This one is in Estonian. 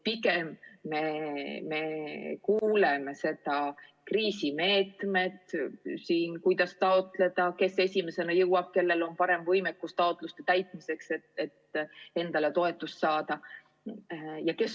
Pigem me kuuleme kriisimeetmete toetuste taotlemise kohta seda, et kes esimesena jõuab, kellel on parem võimekus taotluste täitmiseks, see saab.